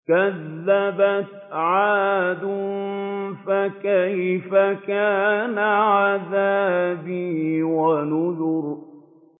كَذَّبَتْ عَادٌ فَكَيْفَ كَانَ عَذَابِي وَنُذُرِ